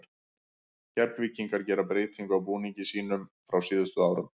Keflvíkingar gera breytingu á búningi sínum frá síðustu árum.